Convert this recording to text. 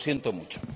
Lo siento mucho.